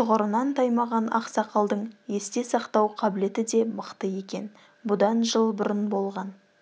тұғырынан таймаған ақсақалдың есте сақтау қабілеті де мықты екен бұдан жыл бұрын болған